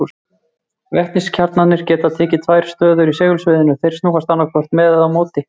Vetniskjarnarnir geta tekið tvær stöður í segulsviðinu, þeir snúast annaðhvort með eða á móti því.